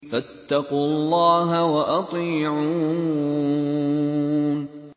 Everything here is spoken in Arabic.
فَاتَّقُوا اللَّهَ وَأَطِيعُونِ